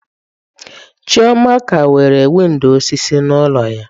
Chioma ka nwere windọ osisi n'ụlọ ya.